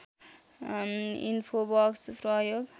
infobox प्रयोग